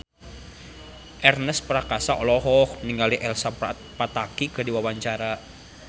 Ernest Prakasa olohok ningali Elsa Pataky keur diwawancara